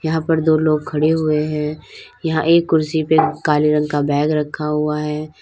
यहां पर दो लोग खड़े हुए है यहां एक कुर्सी पे काले रंग का बैग रखा हुआ है।